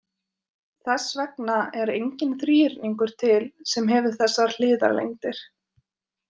Þess vegna er enginn þríhyrningur til sem hefur þessar hliðalengdir.